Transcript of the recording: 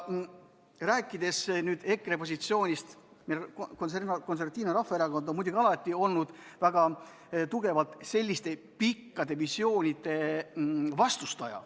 Rääkides EKRE positsioonist, siis Eesti Konservatiivne Rahvaerakond on muidugi alati olnud väga tugevalt selliste pikaaegsete visioonide vastu.